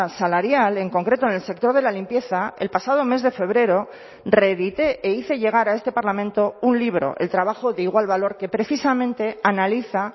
salarial en concreto en el sector de la limpieza el pasado mes de febrero reedité e hice llegar a este parlamento un libro el trabajo de igual valor que precisamente analiza